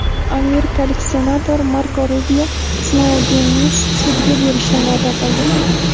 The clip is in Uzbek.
Amerikalik senator Marko Rubio Snoudenni sudga berishni va’da qildi.